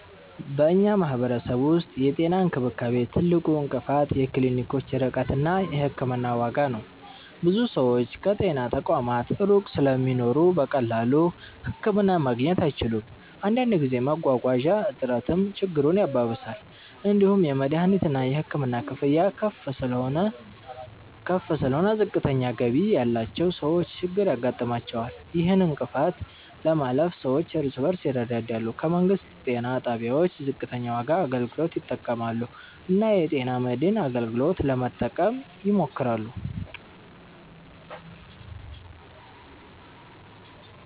በእኛ ማህበረሰብ ውስጥ የጤና እንክብካቤ ትልቁ እንቅፋት የክሊኒኮች ርቀት እና የሕክምና ዋጋ ነው። ብዙ ሰዎች ከጤና ተቋማት ሩቅ ስለሚኖሩ በቀላሉ ህክምና ማግኘት አይችሉም። አንዳንድ ጊዜ መጓጓዣ እጥረትም ችግሩን ያባብሳል። እንዲሁም የመድሀኒትና የሕክምና ክፍያ ከፍ ስለሆነ ዝቅተኛ ገቢ ያላቸው ሰዎች ችግር ያጋጥማቸዋል። ይህን እንቅፋት ለማለፍ ሰዎች እርስ በርስ ይረዳዳሉ፣ ከመንግስት ጤና ጣቢያዎች ዝቅተኛ ዋጋ አገልግሎት ይጠቀማሉ እና የጤና መድን አገልግሎትን ለመጠቀም ይሞክራሉ።